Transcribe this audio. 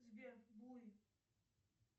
сбер буй